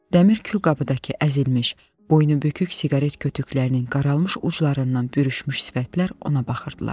Dəmir külqabıdakı əzilmiş, boynubükük siqaret kütüklərinin qaralmış uclarından bürüşmüş sifətlər ona baxırdılar.